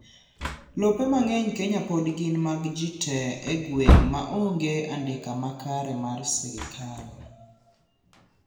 lope mang'eny kenya pod gin mag jii tee e gweng' maonge andika makare mar sirkal